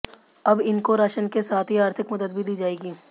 अब इनको राशन के साथ ही आर्थिक मदद भी दी जाएगी